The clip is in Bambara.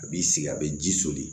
A b'i sigi a bɛ ji soli